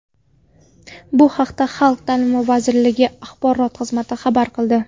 Bu haqda Xalq ta’limi vazirligi Axborot xizmati xabar qildi.